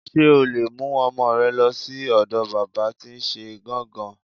S̩e o lè mú o̩mo̩ re̩ lo̩ sí ò̩do̩ bábà tí n s̩e gán-gàn-gán.